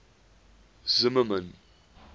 zimmermann